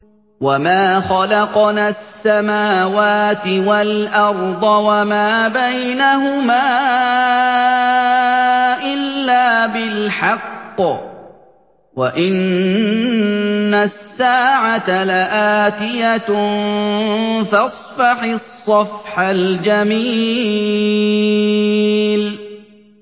وَمَا خَلَقْنَا السَّمَاوَاتِ وَالْأَرْضَ وَمَا بَيْنَهُمَا إِلَّا بِالْحَقِّ ۗ وَإِنَّ السَّاعَةَ لَآتِيَةٌ ۖ فَاصْفَحِ الصَّفْحَ الْجَمِيلَ